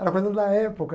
Era coisa da época.